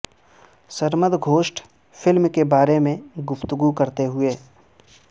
Sarmad Khoosat film کے بارے میں گفتگو کرتے ہوئے